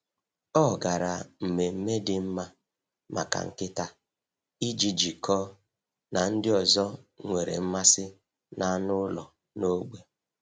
Ọ gara mmemme dị mma maka nkịta iji jikọọ na ndị ọzọ nwere mmasị n’anụ ụlọ n’ógbè.